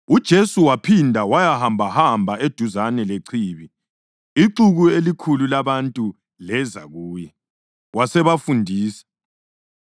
UJesu waphinde wayahambahamba eduzane lechibi. Ixuku elikhulu labantu leza kuye, wasebafundisa.